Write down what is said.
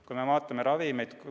Vaatame näiteks ravimeid.